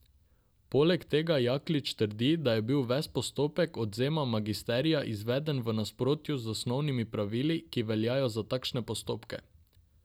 Poleg tega Jaklič trdi, da je bil ves postopek odvzema magisterija izveden v nasprotju z osnovnimi pravili, ki veljajo za takšne postopke.